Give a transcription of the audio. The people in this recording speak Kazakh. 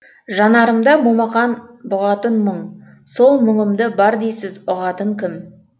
жанарымда момақан бұғатын мұң сол мұңымды бар дейсіз ұғатын кім